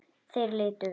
Þeir litu við.